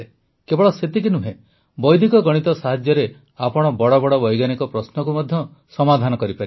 କେବଳ ସେତିକି ନୁହେଁ ବୈଦିକ ଗଣିତ ସାହାଯ୍ୟରେ ଆପଣ ବଡ଼ ବଡ଼ ବୈଜ୍ଞାନିକ ପ୍ରଶ୍ନକୁ ମଧ୍ୟ ସମାଧାନ କରିପାରିବେ